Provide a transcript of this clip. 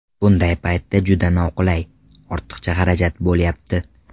Bunday paytda juda noqulay, ortiqcha xarajat bo‘lyapti.